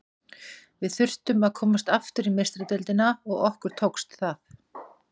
Við þurftum að komast aftur í Meistaradeildina og okkur tókst það.